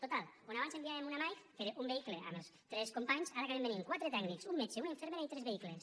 total quan abans enviàvem una mike que era un vehicle amb els tres companys ara acaben venint quatre tècnics un metge una infermera i tres vehicles